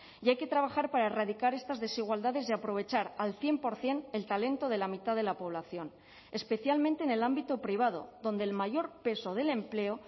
y hay que trabajar para erradicar estas desigualdades y aprovechar al cien por ciento el talento de la mitad de la población especialmente en el ámbito privado donde el mayor peso del empleo